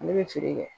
Ne bɛ feere kɛ